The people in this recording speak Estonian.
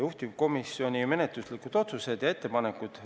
Juhtivkomisjoni menetluslikud otsused ja ettepanekud olid järgmised.